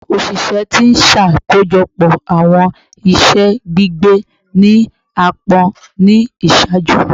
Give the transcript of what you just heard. Oṣiṣẹ ti n ṣakojọpọ awọn iṣẹ gbigbe ni aapọn ni iṣaaju